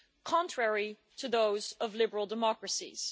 contrary to those of liberal democracies.